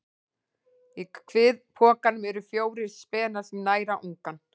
Í kviðpokanum eru fjórir spenar sem næra ungann.